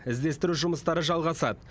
іздестіру жұмыстары жалғасады